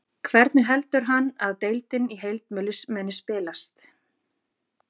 Hvernig heldur hann að deildin í heild muni spilast?